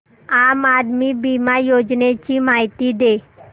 आम आदमी बिमा योजने ची माहिती दे